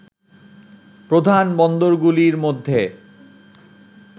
প্রধান বন্দরগুলির মধ্যে